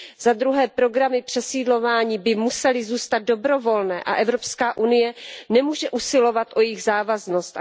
Za druhé programy přesídlování by musely zůstat dobrovolné a EU nemůže usilovat o jejich závaznost.